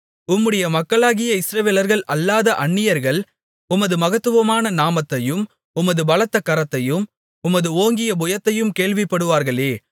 உம்முடைய மக்களாகிய இஸ்ரவேலர்கள் அல்லாத அந்நியர்கள் உமது மகத்துவமான நாமத்தையும் உமது பலத்த கரத்தையும் உமது ஓங்கிய புயத்தையும் கேள்விப்படுவார்களே